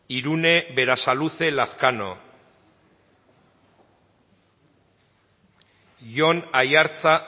irune berasaluze lazkano jon aiartza